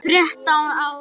Þrettán ár.